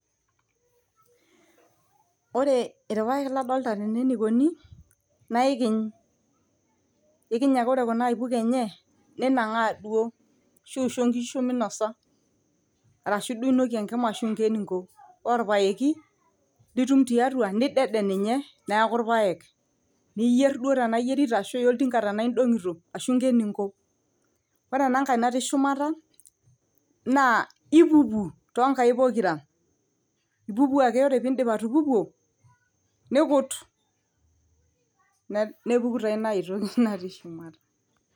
Ore ilpayek ladolita tenew naa ikiny, ikiny ake ore kuna aipuko enye ninangaa duo ashu injo inkishu meinosa arashu duo inokie enkima arashu inko eningo. Ore olpayeki litum tiatua nidede ninye neeku ilpayek, niyier duo tenaa iyierita arashu iya oltinga tenaa indonkito ashu inko eningo. Ore enangae natii shumata naa ipupu too nkaik pokira, ipupu ake ore idiip atupupuo nikut nepuku taa ingae toki natii shumata.